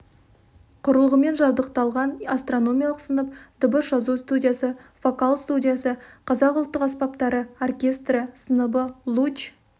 құрылғымен жабдықталған астрономиялық сынып дыбыс жазу студиясы вокал студиясы қазақ ұлттық аспаптары оркестрі сыныбы луч